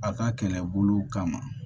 A ka kɛlɛbolo kama